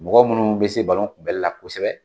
Mɔgɔ minnu bɛ se balon kunbɛli la kosɛbɛ.